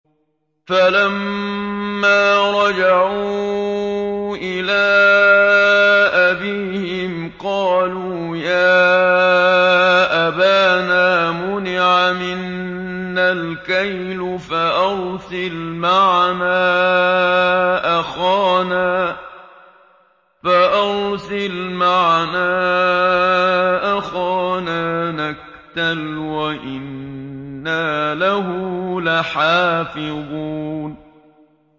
فَلَمَّا رَجَعُوا إِلَىٰ أَبِيهِمْ قَالُوا يَا أَبَانَا مُنِعَ مِنَّا الْكَيْلُ فَأَرْسِلْ مَعَنَا أَخَانَا نَكْتَلْ وَإِنَّا لَهُ لَحَافِظُونَ